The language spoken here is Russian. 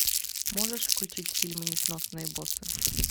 можешь включить фильм несносные боссы